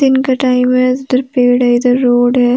दिन का टाइम हैइधर पेड़ है इधर रोड है।